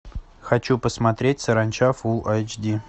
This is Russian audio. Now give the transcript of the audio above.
хочу посмотреть саранча фулл айч ди